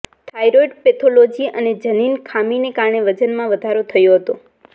thyroid pathology અને જનીન ખામીને કારણે વજનમાં વધારો થયો હતો